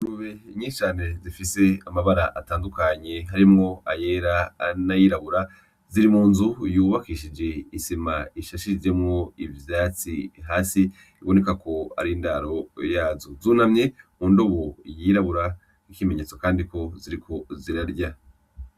Ingurube nyinshi cane zifise amabara atandukanye harimwo, ayera n'ayirabura ziri munzu yubakishije isima isashijemwo ivyatsi hasi bibonekako arindaro yazo. Zunamye mundobo yirabura nk'ikimenyetso kandiko ziriko zirarya.